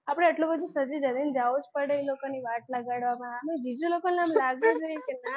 આપડે આટલું બધુ સજી ધજી ને જાવું જ પડે એ લોકોની વાટ લગાવા આમય જીજુ લોકોને લાગવું જોઈએ ના,